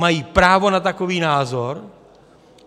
Mají právo na takový názor.